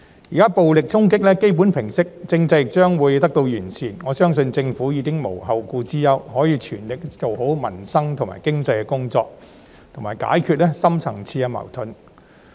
現時暴力衝擊基本上已平息，政制亦將會得到完善，我相信政府已無後顧之憂，可以全力做好民生及經濟的工作，以及解決深層次矛盾。